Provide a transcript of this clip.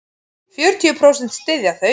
Fjörutíu prósent styðja þau.